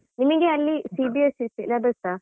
ನಿಮ್ಗೆ ಅಲ್ಲಿ CBSE syllabus ಅ?